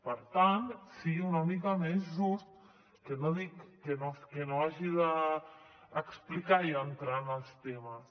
per tant sigui una mica més just que no dic que no hagi d’explicar i entrar en els temes